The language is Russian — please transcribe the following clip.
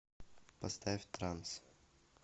поставь транс